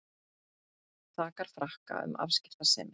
Sakar Frakka um afskiptasemi